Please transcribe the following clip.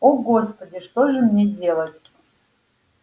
о господи что же мне делать